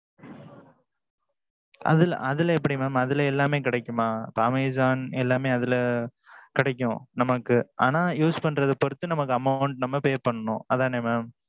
அதுல அதுல எப்பிடி mam. அதுல எல்லாமே கிடைக்குமா? amazon எல்லாமே அதுல கிடைக்கும் நமக்கு. ஆனா use பண்றது பொறுத்து நமக்கு amount நம்ம pay பன்னணும் அதானே mam.